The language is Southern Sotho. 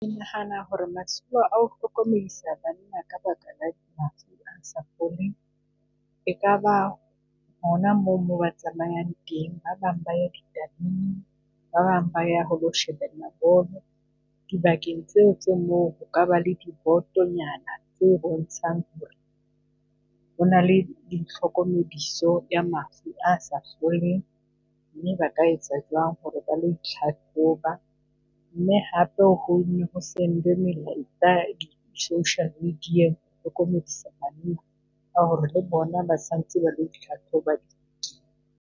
Ke nahana ho re masimo ao hlokomedisa banna , ekaba hona moo moo ba tsamayang teng, ba bang ba ya , ba bang ba ya ho lo shebella bolo dibakeng tseo tse moo ho kaba le di botonyana tse bontshang ho re hona le ditlhokomediso ya mafu a sa foleng. Mme ba ka etsa jwang ho re ba lo itlhahloba mme hape o ho nne ho send-we melaetsa di social media-eng ka ho re le bona ba tshwantse ba .